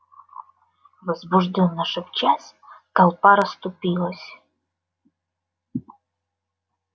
возбуждённо шепчась толпа расступилась